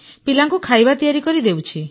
ପିଲାଙ୍କୁ ଖାଇବା ତିଆରି କରି ଦେଉଛି